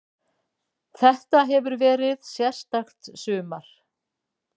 Þetta hefur verið sérstakt sumar.